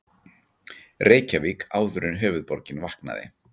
Reykjavík áður en höfuðborgin vaknaði.